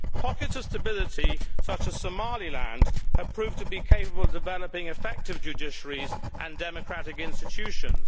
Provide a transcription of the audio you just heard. Pockets of stability such as Somaliland have proved to be capable of developing effective judiciaries and democratic institutions.